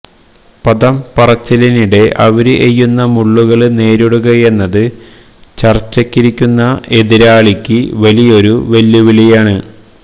പദം പറച്ചിലിനിടെ അവര് എയ്യുന്ന മുള്ളുകള് നേരിടുകയെന്നത് ചര്ച്ചയ്ക്കിരിക്കുന്ന എതിരാളിക്ക് വലിയൊരു വെല്ലുവിളിയാണ്